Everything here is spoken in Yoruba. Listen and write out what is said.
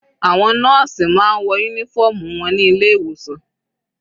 Àwọn nọ́ọ̀sì máa ń wọ uniform wọn ní ilé ìwòsan.